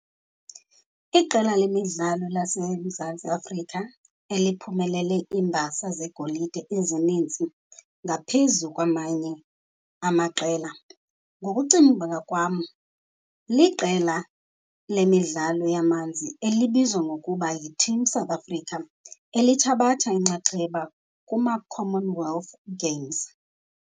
Iqela lemidlalo laseMzantsi Afrika eliphumelele iimbasa zegolide ezininzi ngaphezu kwamanye amaqela ngokucinga kwam, liqela lemidlalo yamanzi elibizwa ngokuba yiTeam South Africa, elithabatha inxaxheba kumaCommon Wealth Games.